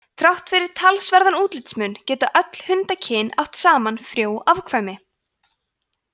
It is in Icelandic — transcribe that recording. þrátt fyrir talsverðan útlitsmun geta öll hundakyn átt saman frjó afkvæmi